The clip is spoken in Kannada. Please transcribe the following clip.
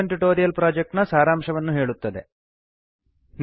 ಇದು ಸ್ಪೋಕನ್ ಟ್ಯುಟೋರಿಯಲ್ ಪ್ರೊಜೆಕ್ಟ್ ನ ಸಾರಾಂಶವನ್ನು ಹೇಳುತ್ತದೆ